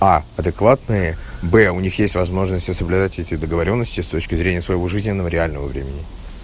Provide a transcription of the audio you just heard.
а адекватные б у них есть возможности соблюдать эти договорённости с точки зрения своего жизненного реального времени